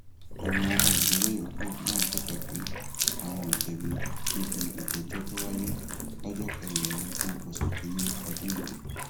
àwọn olùjẹjọ yòókù náà bẹbẹ pé àwọn ò jẹbi níbi ìjẹjọ tó wáyé lọjọ kẹrìnlélógún oṣù kínínní ọdún yìí